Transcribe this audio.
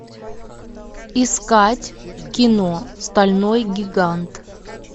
искать кино стальной гигант